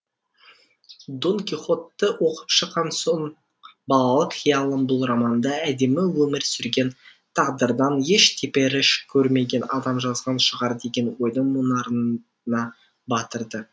дон кихотты оқып шыққан соң балалық қиялым бұл романды әдемі өмір сүрген тағдырдан еш теперіш көрмеген адам жазған шығар деген ойдың мұнарына батырды